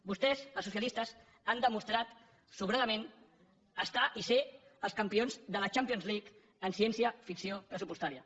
vostès els socialistes han demostrat sobradament estar i ser els campions de la champions league en ciència ficció pressupostària